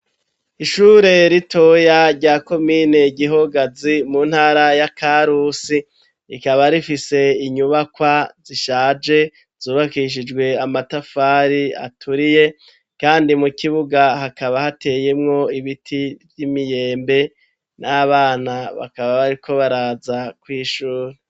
Ishure ritoya rya komine Gihogazi mu ntara ya Karusi rikaba rifise inyubakwa zishaje zubakishijwe amatafari aturiye kandi mu kibuga hakaba hateyemwo ibiti vy'imiyembe naho abana bakaba bariko baraza kw'ishuri.